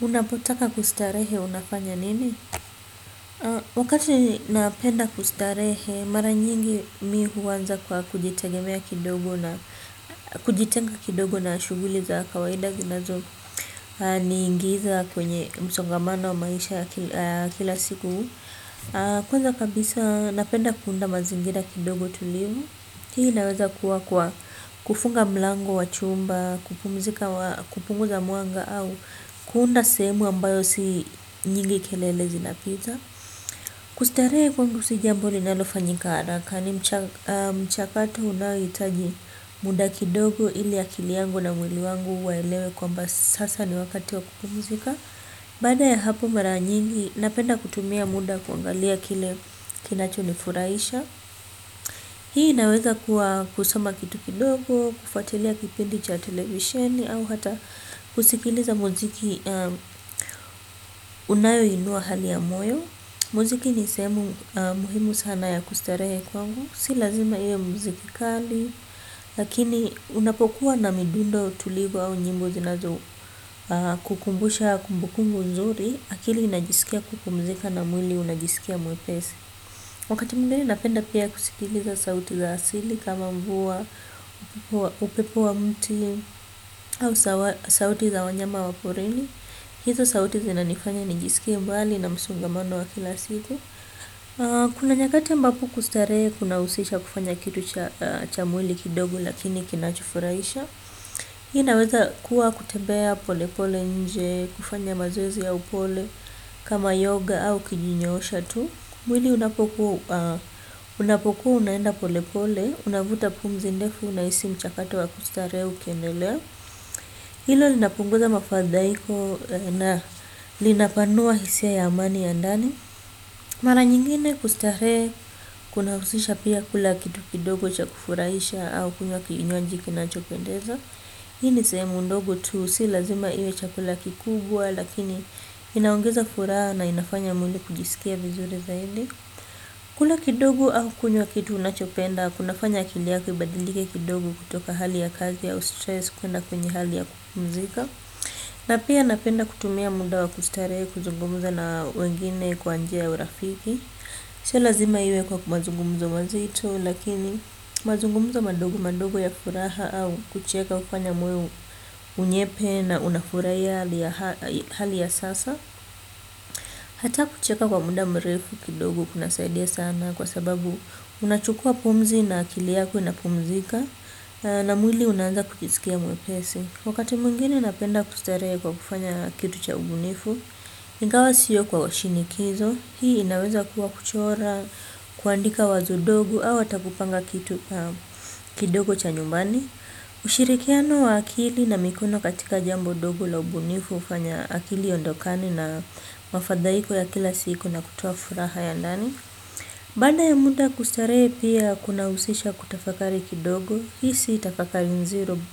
Unapotaka kustarehe unafanya nini? Wakati napenda kustarehe, mara nyingi mi huanza kwa kujitenga kidogo na shughuli za kawaida zinazo niingiza kwenye msongamano wa maisha kila siku. Kwanza kabisa napenda kuunda mazingira kidogo tulivu hii inaeza kuwa kwa kufunga mlango wa chumba kupumzika. Kupungu a mwanga au kuunda sehemu ambayo si nyingi kelele zinapita. Kustarehe kwangu si jambo linalo fanyika haraka ni mchakato unaohitaji muda kidogo ili akili yangu na mwili wangu waelewe kwamba sasa ni wakati wa kupumzika. Baada ya hapo mara nyingi, napenda kutumia muda kuangalia kile kinacho ni furahisha. Hii inaweza kuwa kusoma kitu kidogo, kufatilia kipindi cha televisheni, au hata kusikiliza muziki unayoinua hali ya moyo. Muziki ni sehemu muhimu sana ya kustarehe kwangu. Si lazima iwe muziki kali, lakini unapokuwa na midundo tulivu au nyimbo zinazo kukumbusha kumbukunbu nzuri. Akili inajisikia kupumzika na mwili unajisikia mwepesi. Wakati mwingine napenda pia kusikiliza sauti za asili kama mvua upepo wa mti au sauti za wanyama wa porini. Hizo sauti zina nifanya nijisikie mbali na msongamano wa kila siku. Kuna nyakati ambapo kustarehe kuna husisha kufanya kitu cha mwili kidogo lakini kinachofurahisha. Inaweza kuwa kutembea pole pole nje. Kufanya mazoezi ya upole kama yoga au kujinyoosha tu mwili unapokuwa unaenda pole pole unavuta pumzi ndefu unahisi mchakato wa kustarehe ukiendelea hilo linapunguza mafadhaiko na linapanua hisia ya amani ya ndani mara nyingine kustarehe kunahusisha pia kula kitu kidogo cha kufurahisha au kunywa kinywaji kinachopendeza hii ni sehemu ndogo tu si lazima iwe chakula kikubwa lakini inaongeza furaha na inafanya mwili kujisikia vizuri zaidi. Kula kidogo au kunywa kitu unachopenda kunafanya kili yako ibadilike kidogo kutoka hali ya kazi au stress kuenda kwenye hali ya kupumzika na pia napenda kutumia muda wa kustarehe kuzungumza na wengine kwa njia ya urafiki. Sio lazima iwe kwa mazungumzo mazito lakini mazungumzo madogo madogo ya furaha au kucheka hufanya moyo unyepe na unafurahia hali ya sasa. Hata kucheka kwa muda mrefu kidogo kuna saidia sana kwa sababu unachukua pumzi na akili yako inapumzika na mwili unaanza kujisikia mwepesi. Wakati mwingine napenda kustarehe kwa kufanya kitu cha ubunifu, ingawa sio kwa shinikizo, hii inaweza kuwa kuchora, kuandika wazo dogo au hata kupanga kitu kidogo cha nyumbani. Ushirikiano wa akili na mikono katika jambo dogo la ubunifu hufanya akili iondokane na mafadhaiko ya kila siku na kutoa furaha ya ndani. Baada ya muda kustarehe pia kuna husisha kutafakari kidogo. Hii si tafakari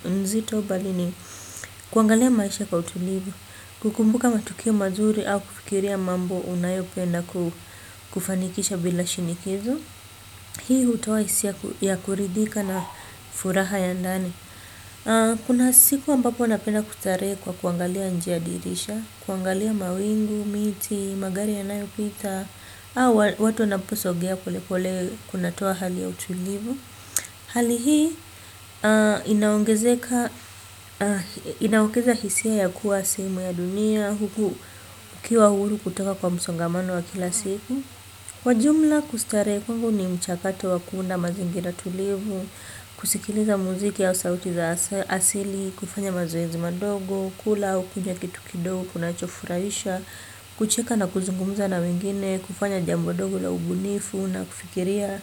nzito bali ni kuangalia maisha kwa utulivu. Kukumbuka matukio mazuri au kufikiria mambo unayopenda kufanikisha bila shinikizo. Hii hutoa hisia ya kuridhika na furaha ya ndani. Kuna siku ambapo napenda kwa kuangalia nje ya dirisha. Kuangalia mawingu, miti, magari yanayopita. Watu wanaposogea poleploe kunatoa hali ya utulivu. Hali hii inaongezeka, inaongeza hisia ya kuwa sehemu ya dunia. Huku ukiwa huru kutoka kwa msongamano wa kila siku kwa jumla kustarehe kwangu ni mchakato wa kuunda mazingira tulivu. Kusikiliza muziki au sauti za asili. Kufanya mazoezi madogo. Kula au kunywa kitu kidogo. Kunacho furahisha. Kucheka na kuzungumuza na wengine. Kufanya jambo dogo la ubunifu na kufikiria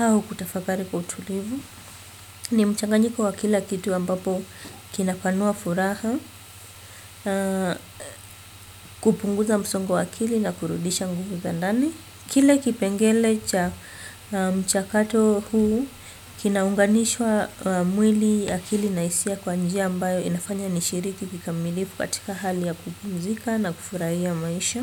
au kutafakari kwa utulivu. Ni mchanganyiko wa kila kitu ambapo kinapanua furaha. Kupunguza msongo wa akili na kurudisha nguvu za ndani. Kile kipengele cha mchakato huu Kinaunganishwa Mwili akili na hisia kwa njia ambayo inafanya nishiriki kikamilifu katika hali ya kupumzika na kufurahia maisha.